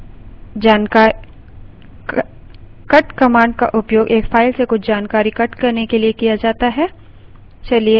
cut command का उपयोग एक file से कुछ जानकारी cut करने के लिए किया जाता है